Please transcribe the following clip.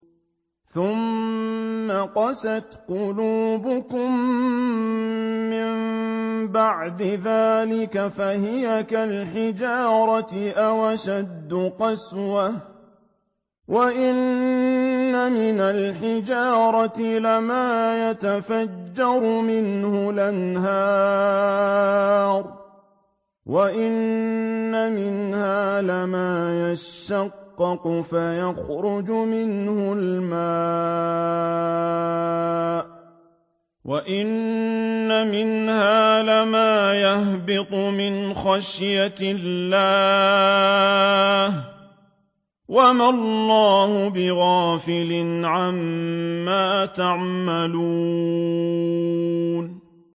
ثُمَّ قَسَتْ قُلُوبُكُم مِّن بَعْدِ ذَٰلِكَ فَهِيَ كَالْحِجَارَةِ أَوْ أَشَدُّ قَسْوَةً ۚ وَإِنَّ مِنَ الْحِجَارَةِ لَمَا يَتَفَجَّرُ مِنْهُ الْأَنْهَارُ ۚ وَإِنَّ مِنْهَا لَمَا يَشَّقَّقُ فَيَخْرُجُ مِنْهُ الْمَاءُ ۚ وَإِنَّ مِنْهَا لَمَا يَهْبِطُ مِنْ خَشْيَةِ اللَّهِ ۗ وَمَا اللَّهُ بِغَافِلٍ عَمَّا تَعْمَلُونَ